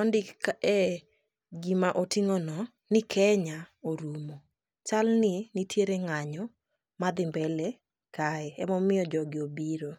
ondik kae gima oting'ono ni Kenya orumo, chal ni nitiere ng'anyo madhi mbele kae, emomiyo jogi obiro.